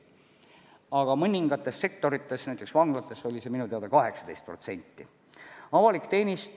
Aga mõningates sektorites, näiteks vanglates oli see minu teada 18%.